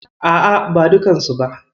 A'a, ba dukkansu ba.